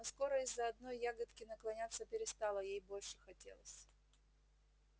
но скоро из-за одной ягодки наклоняться перестала ей больше хотелось